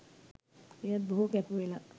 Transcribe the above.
එයත් බොහෝ කැපවෙලා